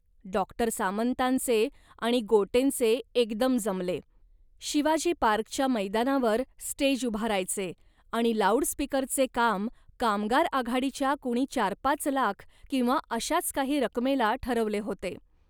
Doctor सामंतांचे आणि गोटेंचे एकदम जमले. शिवाजी पार्कच्या मैदानावर स्टेज उभारायचे आणि लाऊड स्पीकरचे काम कामगार आघाडीच्या कुणी चारपाच लाख किंवा अशाच काही रकमेला ठरवले होते